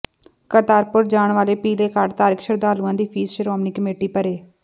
ਕਰਤਾਰਪੁਰ ਜਾਣ ਵਾਲੇ ਪੀਲੇ ਕਾਰਡ ਧਾਰਕ ਸ਼ਰਧਾਲੂਆਂ ਦੀ ਫੀਸ ਸ਼੍ਰੋਮਣੀ ਕਮੇਟੀ ਭਰੇ